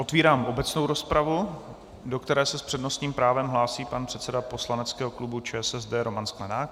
Otevírám obecnou rozpravu, do které se s přednostním právem hlásí pan předseda poslaneckého klubu ČSSD Roman Sklenák.